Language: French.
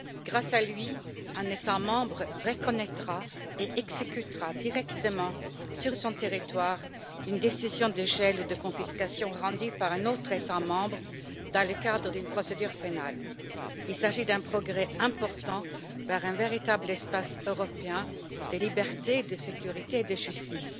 Grâce à lui, un État membre reconnaîtra et exécutera directement sur son territoire une décision de gel ou de confiscation rendue par un autre État membre dans le cadre d'une procédure pénale. Il s'agit d'un progrès important vers un véritable espace européen de liberté, de sécurité et de justice.